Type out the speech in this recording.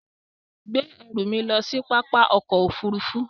Gbé ẹ̀rù mi lọ sí pápá òkò òfúrùfú